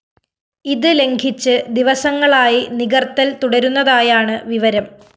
ഇത് ലംഘിച്ച് ദിവസങ്ങളായി നികര്‍ത്തല്‍ തുടരുന്നതായാണ് വിവരം